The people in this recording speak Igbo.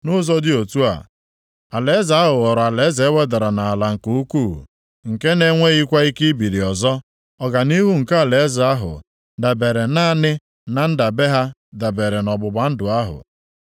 Nʼụzọ dị otu a, alaeze ahụ ghọrọ alaeze e wedara nʼala nke ukwuu, nke na-enweghịkwa ike ibili ọzọ. Ọganihu nke alaeze ahụ dabeere naanị na ndebe ha debere ọgbụgba ndụ ahụ.